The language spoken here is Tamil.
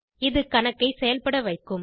இது கணக்கைச் செயல்பட வைக்கும்